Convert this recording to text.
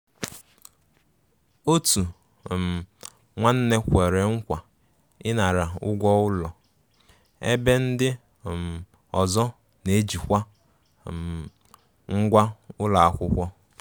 Òtù um nwánne kwere nkwa ịnara ụgwọ ụlọ, ebe ndi um ọzọ na-ejikwa um ngwá ụlọ akwụkwọ.